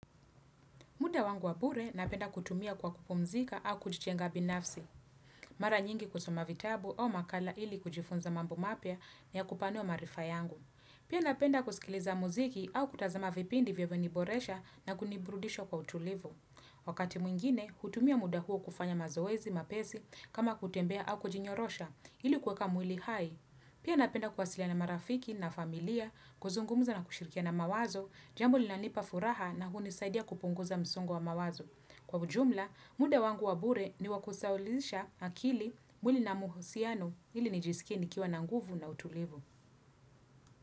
Muda wangu wabure napenda kutumia kwa kupumzika au kujitenga binafsi. Mara nyingi kusoma vitabu au makala ili kujifunza mambo mapya ni ya kupanua maarifa yangu. Pia napenda kusikiliza muziki au kutazama vipindi vyenye vimeniboresha na kuniburudisha kwa utulivu. Wakati mwingine, hutumia muda huo kufanya mazoezi, mapesi, kama kutembea au kujinyorosha ili kuweka mwili hai. Pia napenda kuwasiliana na marafiki na familia kuzungumuza na kushirikia na mawazo, jambo linanipa furaha na kunisaidia kupunguza msongo wa mawazo. Kwa ujumla, muda wangu wa bure ni wa kusahulisha akili mwili na muhusiano ili nijisikie ni kiwa na nguvu na utulivu.